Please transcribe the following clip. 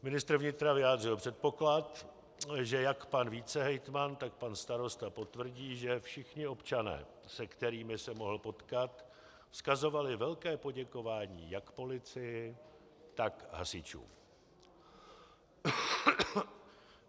Ministr vnitra vyjádřil předpoklad, že jak pan vicehejtman, tak pan starosta potvrdí, že všichni občané, se kterými se mohl potkat, vzkazovali velké poděkování jak policii, tak hasičům.